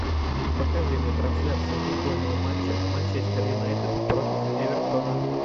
покажи мне трансляцию футбольного матча манчестер юнайтед против эвертона